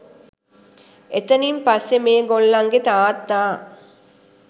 එතනින් පස්සේ මේ ගොල්ලන්ගේ තාත්තා